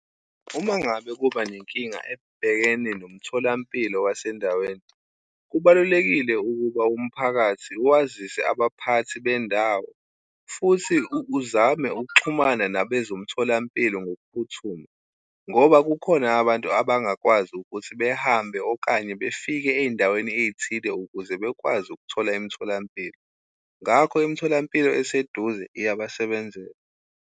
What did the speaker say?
Uma ngabe kuba nenkinga ebhekene nomtholampilo wasendaweni, kubalulekile ukuba umphakathi wazise abaphathi bendawo, futhi uzame ukuxhumana nabezomtholampilo ngokuphuthuma. Ngoba kukhona abantu abangakwazi ukuthi behambe okanye befike ey'ndaweni ey'thile ukuze bekwazi ukuthola imtholampilo. Ngakho imtholampilo eseduze iyabasebenzela.